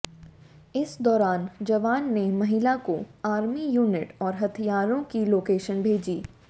इस दौरान जवान ने महिला को आर्मी यूनिट और हथियारों की लोकेशन भेजी